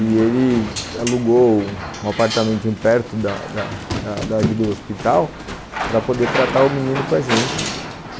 E ele alugou um apartamentinho perto da da da ali do hospital para poder tratar o menino com a gente.